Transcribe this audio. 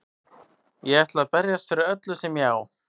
Ég ætla að berjast fyrir öllu sem ég á.